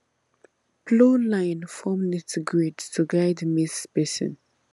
plow line form neat grid to guide maize spacing